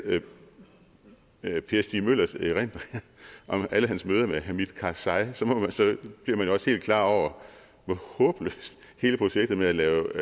per stig møllers erindringer om alle hans møder med hamid karzai bliver man jo også helt klar over hvor håbløst hele projektet med at lave